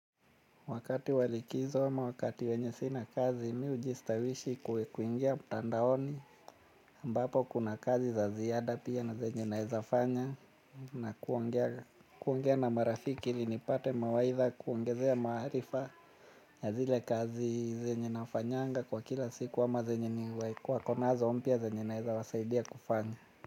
Wakati wa likizo ama wakati wenye sina kazi mi hujistawishi kuingia mtandaoni ambapo kuna kazi za ziada pia na zenye naeza fanya na kuongea kuongea na marafiki ili nipate mawaidha, kuongezea maarifa na zile kazi zenye nafanyanga kwa kila siku ama zenye wako nazo mpya zenye naeza wasaidia kufanya.